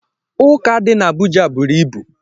Ụka dị n'Abuja buru ibu